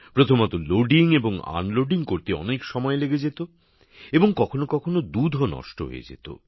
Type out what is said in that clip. প্রথমত ট্রেনে দুধ তুলতে এবং নামাতে অনেক সময় লেগে যেত এবং কখনও কখনও দুধও নষ্ট হয়ে যেত